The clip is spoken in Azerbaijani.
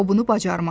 O bunu bacarmaz.